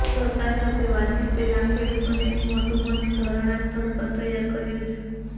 સરકાર સાથે વાતચીત પહેલા ખેડૂતોને એક મોટુ મંચ ઘરણા સ્થળ પર તૈયાર કર્યુ છે